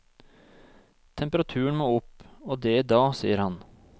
Temperaturen må opp, og det i dag, sier han.